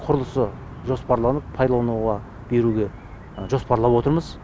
құрылысы жоспарланып пайдалануға беруге жоспарлап отырмыз